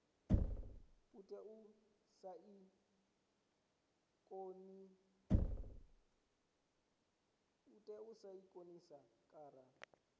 tea u saina konṱiraka na